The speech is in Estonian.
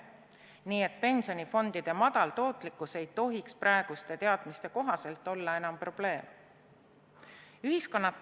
Nii et pensionifondide madal tootlikkus ei tohiks praeguste teadmiste kohaselt olla enam probleem.